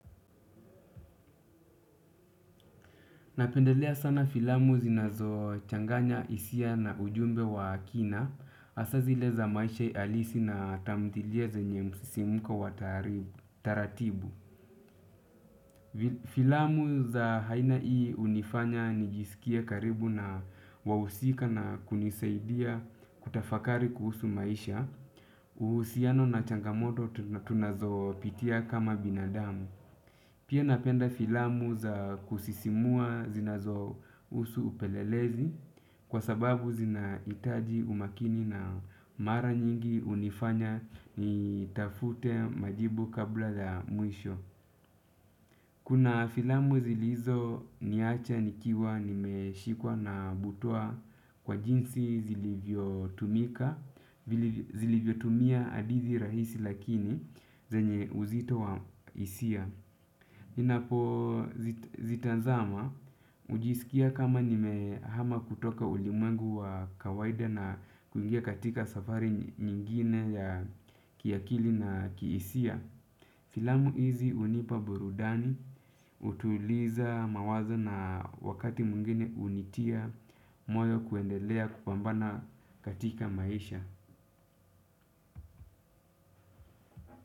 Napendelea sana filamu zinazo changanya hisia na ujumbe wa kina, hasaa zile za maisha alisi na tamthilia zenye msisimko wa taratibu. Filamu za aina hii hunifanya nijisikia karibu na wahusika na kunisaidia kutafakari kuhusu maisha. Uhusiano na changamoto tunazo pitia kama binadamu. Pia napenda filamu za kusisimua zinazo husu upelelezi kwa sababu zina hitaji umakini na mara nyingi unifanya ni tafute majibu kabla ya mwisho. Kuna filamu zilizo niacha nikiwa nimeshikwa na butua kwa jinsi zilivyo tumika zilivyo tumia hadithi rahisi lakini zenye uzito wa hisia. Ninapo zitazama, hujisikia kama nimehama kutoka ulimwengu wa kawaida na kuingia katika safari nyingine ya kiakili na kihisia. Filamu hizi hunipa burudani, hutuliza mawazo na wakati mwingine hunitia, moyo kuendelea kupambana katika maisha.